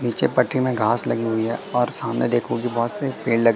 पीछे पट्टी में घास लगी हुई है और सामने देखो बहोत से पेड़ लगे--